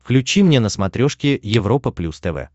включи мне на смотрешке европа плюс тв